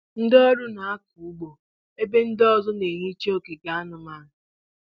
Ndị ọrụ na-akọ ụgbọ ebe ndị ọzọ na-ehicha ogige anụmanụ.